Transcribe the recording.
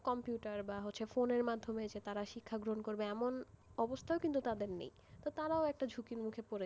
computer বা phone র মাধ্যমে তারা যে শিক্ষা গ্রহণ করবে এমন অবস্থাও কিন্তু তাদের নেইতো তারাও একটা ঝুঁকির মধ্যে পড়ে গেছে,